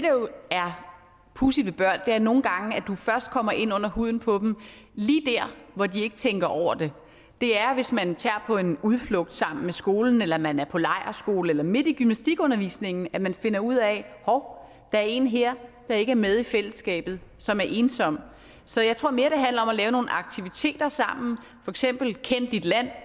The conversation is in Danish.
pudsige ved børn er at du nogle gange først kommer ind under huden på dem lige der hvor de ikke tænker over det det er hvis man tager på en udflugt sammen med skolen eller man er på lejrskole eller er midt i gymnastikundervisningen at man finder ud af hov der er en her der ikke er med i fællesskabet som er ensom så jeg tror mere det handler om at lave nogle aktiviteter sammen for eksempel kend dit land